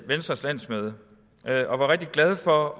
venstres landsmøde og var rigtig glade for at